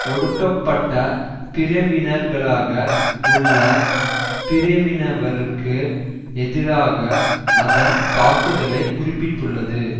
ஒடுக்கப்பட்ட பிரவினர்களாக உள்ள சில பிரவினவருக்கு எதிராக அதன் தாக்குதலை குறிப்பிட்டுள்ளது